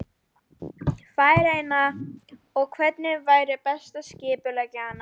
Færeyinga, og hvernig væri best að skipuleggja hana.